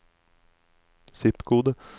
zip-kode